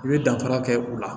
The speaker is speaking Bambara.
I bɛ danfara kɛ u la